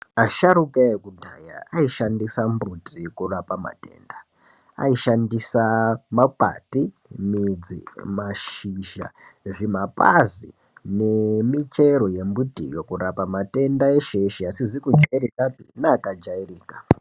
Asharuka ekudhaya aishandisa mbuti kurapa matenda. Ayishandisa makwati, midzi, mashizha, zvimapazi nemichero yemiti yeshe yeshe kurapa matenda asizi kujairikapi neakajairika.